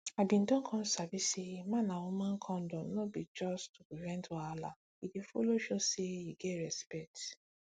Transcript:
i been don come sabi say man and woman condom no be just to prevent wahala e dey follow show say you get respect